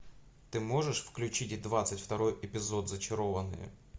ты можешь включить двадцать второй эпизод зачарованные